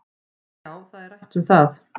Já, það er rætt um það